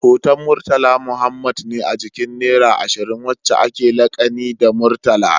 Hoton murtala Muhammad ne a jikin naira ashirin, wacca akewa lakani da murtala